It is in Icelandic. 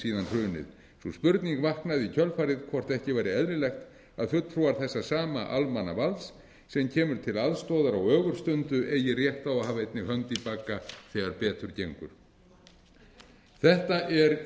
hrunið sú spurning vaknar í kjölfarið hvort ekki væri eðlilegt að fulltrúar þessa sama almannavalds sem kemur til aðstoðar á ögurstundu eigi rétt á að hafa einnig hönd í bagga þegar betur gengur þetta er